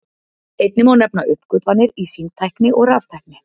Einnig má nefna uppgötvanir í símtækni og raftækni.